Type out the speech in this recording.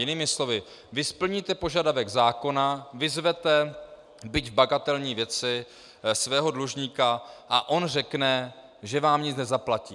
Jinými slovy, vy splníte požadavek zákona, vyzvete, byť v bagatelní věci, svého dlužníka, a on řekne, že vám nic nezaplatí.